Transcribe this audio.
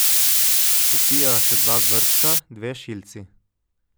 Popijeva še dva vrčka, dve šilci.